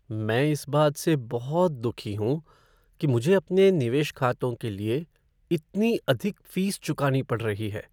मैं इस बात से बहुत दुखी हूँ कि मुझे अपने निवेश खातों के लिए इतनी अधिक फ़ीस चुकानी पड़ रही है।